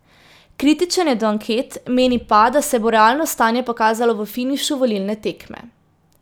Kritičen je do anket, meni pa, da se bo realno stanje pokazalo v finišu volilne tekme.